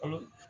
Kolon